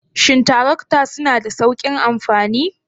Shin tarakta suna da sauƙin amfani?